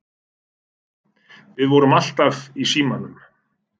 Við vorum alltaf í símanum.